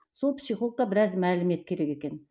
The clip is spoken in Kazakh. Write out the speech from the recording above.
сол психологқа біраз мәлімет керек екен